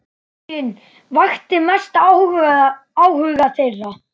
Fanginn vakti mestan áhuga þeirra.